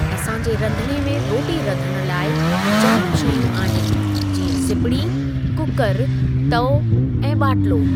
असां जे रंधिणे में रोटी रधणु लाइ जाम शयूं आहिनि जीअं सिपड़ी, कूकरु, तओ ऐं ॿाटिलो।